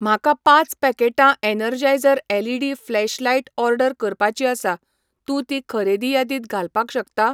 म्हाका पाच पॅकेटां एनर्जायझर एलईडी फ्लॅशलायट ऑर्डर करपाची आसा, तूं ती खरेदी यादीत घालपाक शकता?